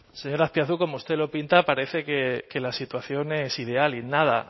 señor azpiazu como usted lo pinta parece que la situación es ideal y nada